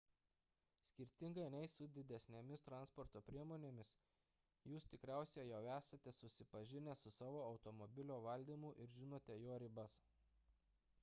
skirtingai nei su didesnėmis transporto priemonėmis jūs tikriausiai jau esate susipažinę su savo automobilio valdymu ir žinote jo ribas